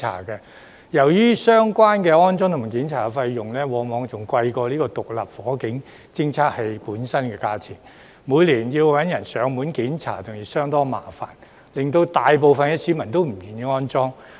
由於相關的安裝及檢查費用往往較獨立火警偵測器本身的價錢更高昂，每年找人上門檢查亦相當麻煩，大部分市民因而不願意安裝。